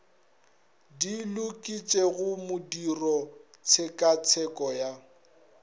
di loketšego modiro tshekatsheko ya